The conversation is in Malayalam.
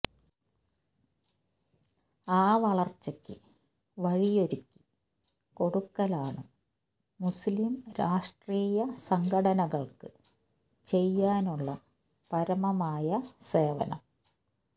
ആ വളര്ച്ചക്ക് വഴിയൊരുക്കി കൊടുക്കലാണ് മുസ്ലിം രാഷ്ട്രീയ സംഘടനകള്ക്ക് ചെയ്യാനുള്ള പരമമായ സേവനം